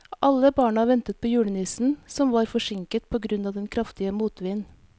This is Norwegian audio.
Alle barna ventet på julenissen, som var forsinket på grunn av den kraftige motvinden.